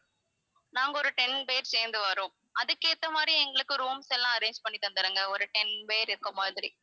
நாங்க ஒரு ten பேர் சேர்ந்து வறோம் அதுக்கு ஏத்த மாதிரி எங்களுக்கு rooms எல்லாம் arrange பண்ணி தந்துடுங்க ஒரு ten பேர் இருக்கிற மாதிரி